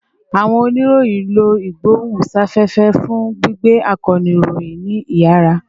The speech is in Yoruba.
Awọn oniroyin lo igbohunsafefe fun gbigbe akoonu iroyin ni iyara